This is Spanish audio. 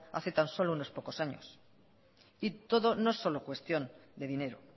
hace tan solo unos pocos años y todo no es solo cuestión de dinero